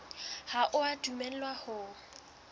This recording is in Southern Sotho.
ha o a dumellwa ho